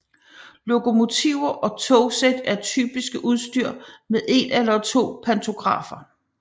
Lokomotiver og togsæt er typisk udstyret med en eller to pantografer